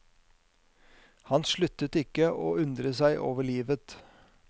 Han sluttet ikke å undre seg over livet.